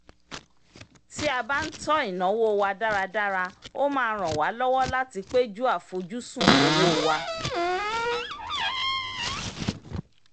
tí a bá ń tọ́ ináwó wa dáradára ó máa ràn wa lọ́wọ́ láti péjú àfojúsùn owó wa